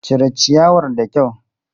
Cire ciyawar da kyau!